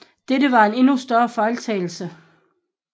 Dette var en endnu større fejltagelse